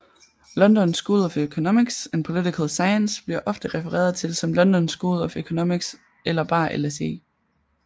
London School of Economics and Political Science bliver ofte refereret til som London School of Economics eller bare LSE